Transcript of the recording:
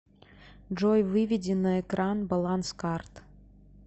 джой выведи на экран баланс карт